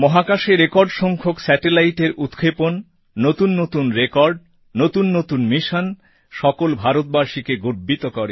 মহাকাশে রেকর্ড সংখ্যক Satelliteএর উৎক্ষেপণ নতুন নতুন রেকর্ড নতুন নতুন মিশন সকল ভারতবাসীকে গর্বিত করে